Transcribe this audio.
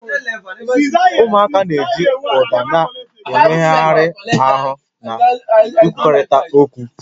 Ụmụaka na-eji ụda na mmegharị ahụ na-ekwurịta okwu